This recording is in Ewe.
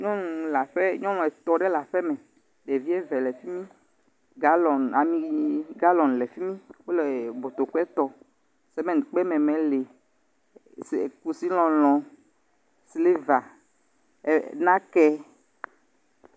Nyɔnu le aƒe, nyɔnu etɔ̃ ɖe le aƒeme. Ɖevi eve le fi mi, galɔ̃ŋ, ami galɔ̃ŋ le fi mi, wole botokɔe tɔ, sementkpemɛmɛ le, kusilɔlɔ̃, siliva, ɛ nakɛ.